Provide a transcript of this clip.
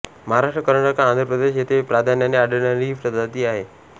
महाराष्ट्र कर्नाटक आंध्रप्रदेश येथे प्राधान्याने आढळणारी ही प्रजाती आहे